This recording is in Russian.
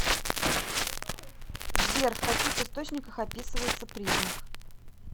сбер в каких источниках описывается признак